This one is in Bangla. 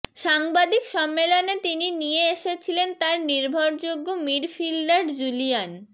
সাংবাদিক সম্মেলনে তিনি নিয়ে এসেছিলেন তাঁর নির্ভরযোগ্য মিডফিল্ডার জুলিয়ান